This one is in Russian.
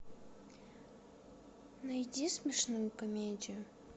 найди смешную комедию